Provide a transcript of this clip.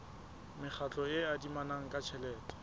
mekgatlo e adimanang ka tjhelete